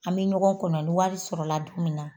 An be ɲɔgɔn kɔnɔ ni wari sɔrɔ la don min na